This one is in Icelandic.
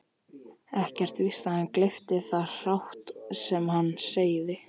Ekkert víst að hann gleypti það hrátt sem hann segði.